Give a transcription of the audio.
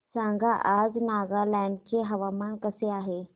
सांगा आज नागालँड चे हवामान कसे आहे